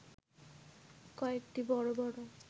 কয়েকটি বড় বড়